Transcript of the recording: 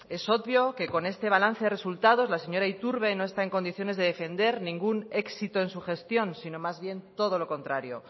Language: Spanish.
es obvio que con este balance de resultados la señora iturbe no está en condiciones de defender ningún éxito en su gestión sino más bien todo lo contrario